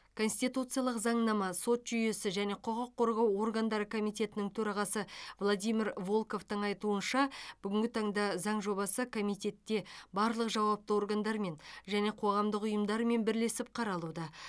конституциялық заңнама сот жүйесі және құқық қорғау органдары комитетінің төрағасы владимир волковтың айтуынша бүгінгі таңда заң жобасы комитетте барлық жауапты органдармен және қоғамдық ұйымдармен бірлесіп қаралуда